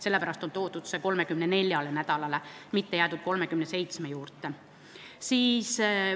Sellepärast on see toodud 34. nädalale, mitte ei ole jäädud 37. nädala juurde.